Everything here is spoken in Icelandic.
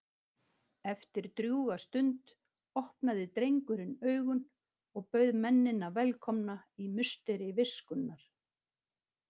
Eftir drjúga stund opnaði drengurinn augun og bauð mennina velkomna í musteri viskunnar.